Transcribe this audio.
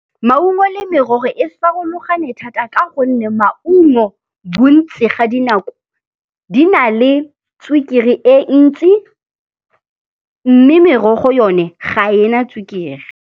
Maungo le merogo e farologane thata ka gonne maungo bontsi ga dinako di na le sukiri e ntsi mme merogo yone ga e na sukiri.